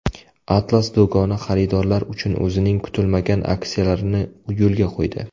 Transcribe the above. Atlas do‘koni xaridorlar uchun o‘zining kutilmagan aksiyalarini yo‘lga qo‘ydi.